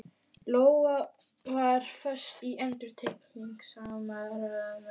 Lóa var föst í endurtekningasamri martröð.